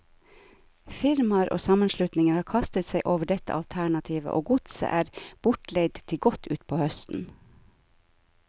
Firmaer og sammenslutninger har kastet seg over dette alternativet, og godset er bortleid til godt utpå høsten.